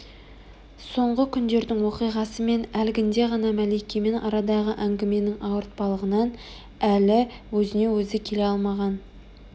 соңғы күндердің оқиғасы мен әлгінде ғана мәликемен арадағы әңгіменің ауыртпалығынан әлі өзіне-өзі келе алмаған